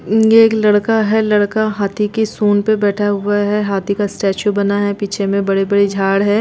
ये एक लड़का है लड़का हाथी के सूंढ़ पे बैठा हुआ है हाथी का स्टेचू बना है पीछे में बड़े-बड़े झाड़ है।